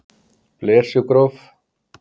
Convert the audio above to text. Blesugróf